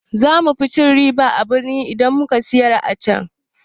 Za mu fi cin riba a birni idan muka siyar acan.